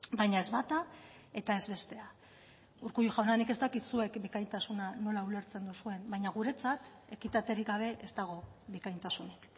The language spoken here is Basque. baina ez bata eta ez bestea urkullu jauna nik ez dakit zuek bikaintasuna nola ulertzen duzuen baina guretzat ekitaterik gabe ez dago bikaintasunik